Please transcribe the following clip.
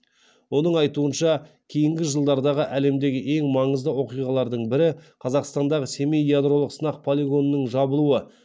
оның айтуынша кейінгі жылдардағы әлемдегі ең маңызды оқиғалардың бірі қазақстандағы семей ядролық сынақ полигонының жабылуы